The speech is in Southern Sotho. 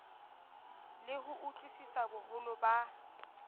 le ho utlwisisa boholo ba